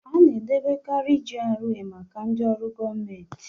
Ana edobekarị GRA maka ndị ọrụ gọọmentị